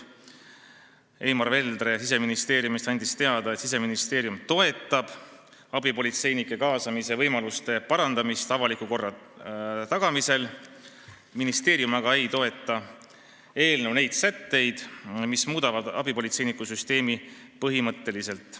Eimar Veldre Siseministeeriumist andis teada, et Siseministeerium toetab abipolitseinike kaasamise võimaluste parandamist avaliku korra tagamisel, ministeerium aga ei toeta eelnõu neid sätteid, mis muudavad abipolitseinikusüsteemi põhimõtteliselt.